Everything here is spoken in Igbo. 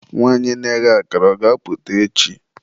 nwanyị na-eghe akara, ọ ga-apụta echi?